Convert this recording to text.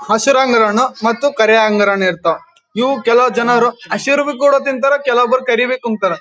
ಹಸರ ಅಂಗೂರ ಹಣ್ಣು ಮತ್ತ ಕರಿ ಅಂಗೂರ ಹಣ್ಣು ಇರ್ತವ ಇವು ಕೆಲವು ಜನರು ಹಸಿರು ಕೂಡ ತಿಂತಾರೆ ಕೆಲವರು ಕರಿವಬಿ ತಿಂತಾರ .